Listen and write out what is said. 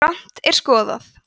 ef grannt er skoðað